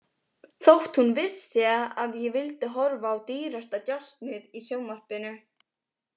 Þótt hún vissi að ég vildi horfa á Dýrasta djásnið í sjónvarpinu.